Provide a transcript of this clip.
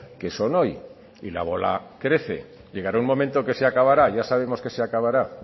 que son hoy y la bola crece llegará un momento que se acabará ya sabemos que se acabará